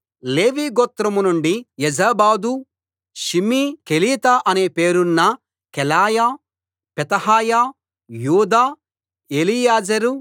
లేవీ గోత్రం నుండి Jozabad Shimei Kelita అనే పేరున్న కెలాయా పెతహయా యూదా ఎలీయెజెరు